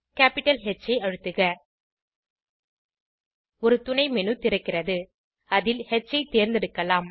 capital H ஐ அழுத்துக ஒரு துணைmenu திறக்கிறது அதில் ஹ் ஐ தேர்ந்தெடுக்கலாம்